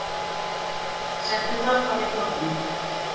Settu tappann í bokkuna.